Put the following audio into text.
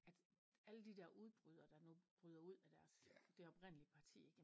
At alle de dér udbrydere der nu bryder ud af deres det oprindelige parti ik